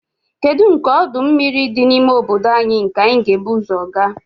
Kedu nke ọdụ mmiri dị n'ime obodo anyị nke anyị kwesịrị ibu ụzọ gaa?